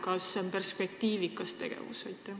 Kas see on perspektiivikas?